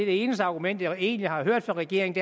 eneste argument jeg egentlig har hørt fra regeringen